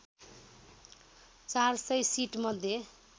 ४०० seat मध्ये